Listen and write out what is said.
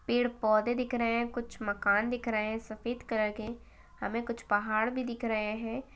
पेड़ पौधे दिख रहे है कुछ मकान दिख रहे है सफेद कलर के हमें कुछ पहाड़ भी दिख रहे है।